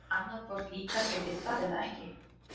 Annað hvort líkar þér við það eða ekki.